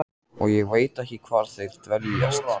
Og ég veit ekki hvar þeir dveljast.